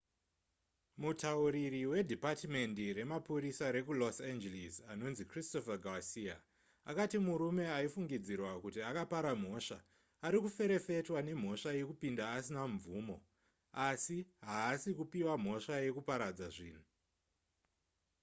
mutauriri wedhipatimendi remapurisa rekulos angeles anonzi christopher garcia akati murume aifungidzirwa kuti akapara mhosva ari kuferefetwa nemhosva yekupinda asina mvumo asi haasi kupiwa mhosva yekuparadza zvinhu